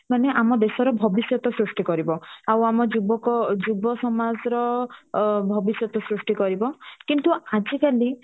ଆମ ଦେଶର ଭବିଷ୍ୟତ ସୃଷ୍ଟି କରିବ ଆଉ ଆମ ଯୁବକ ଯୁବସମାଜ ର ଅ ଭବିଷ୍ୟତ ସୃଷ୍ଟି କରିବ କିନ୍ତୁ ଆଜି କାଲି